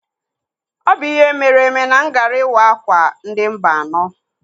Ọ bụ ihe meere eme na m gaara ịwa akwa ndị Mba anọ.